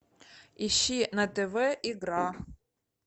ищи на тв игра